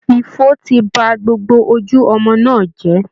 Ifo ti ba gbogbo ojú ọmọ náà jẹ́